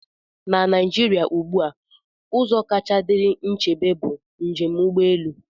Na Naijiria ugbu a, ụzọ kacha dịrị nchebe bụ njem ụgbọ elu.